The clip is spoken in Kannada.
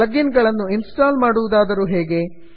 ಪ್ಲಗ್ ಇನ್ ಗಳನ್ನು ಇನ್ಸ್ಟಾಲ್ ಮಾಡುವುದಾದರೂ ಹೇಗೆ